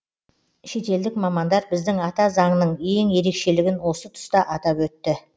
шетелдік мамандар біздің ата заңның ең ерекшелігін осы тұста атап өтті